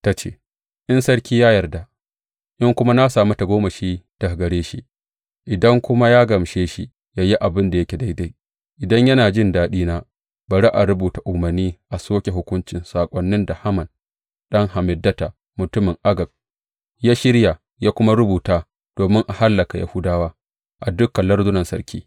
Ta ce, In sarki ya yarda, in kuma na sami tagomashi daga gare shi, idan kuma ya gamshe shi yă yi abin da yake daidai, idan yana jin daɗina, bari a rubuta umarni a soke hukuncin saƙonin da Haman ɗan Hammedata, mutumin Agag, ya shirya ya kuma rubuta domin a hallaka Yahudawa a dukan lardunan sarki.